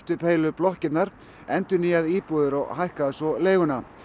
upp heilu blokkirnar endurnýja íbúðir og hækka svo leiguna